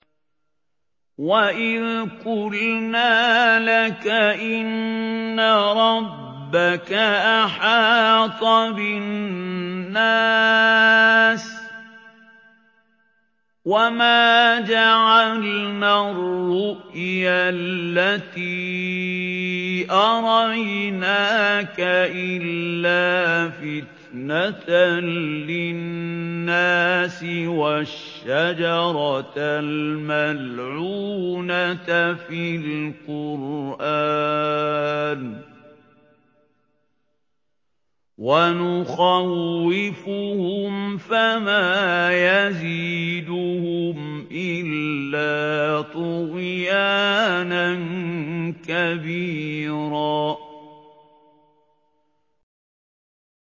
وَإِذْ قُلْنَا لَكَ إِنَّ رَبَّكَ أَحَاطَ بِالنَّاسِ ۚ وَمَا جَعَلْنَا الرُّؤْيَا الَّتِي أَرَيْنَاكَ إِلَّا فِتْنَةً لِّلنَّاسِ وَالشَّجَرَةَ الْمَلْعُونَةَ فِي الْقُرْآنِ ۚ وَنُخَوِّفُهُمْ فَمَا يَزِيدُهُمْ إِلَّا طُغْيَانًا كَبِيرًا